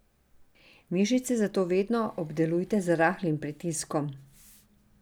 Mišice zato vedno obdelujte z rahlim pritiskom.